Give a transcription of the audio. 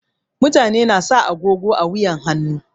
Mutane na sa agogo a wuyan hannu.